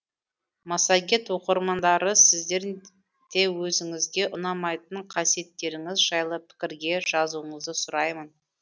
массагет оқырмандары сіздер де өзіңізге ұнамайтын қасиеттеріңіз жайлы пікірге жазуыңызды сұраймын